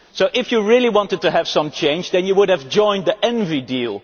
If you really wanted to have some change then you would have joined the ENVI deal.